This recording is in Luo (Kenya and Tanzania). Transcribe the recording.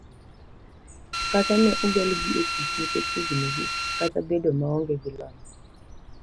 Kata ne ogolgi e tich nikech hignigi kata bedo maonge gi lony.